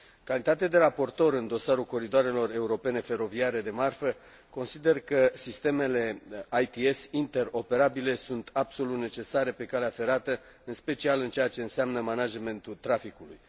În calitate de raportor în dosarul coridoarelor europene feroviare de marfă, consider că sistemele ITS interoperabile sunt absolut necesare pe calea ferată, în special în ceea ce înseamnă managementul traficului.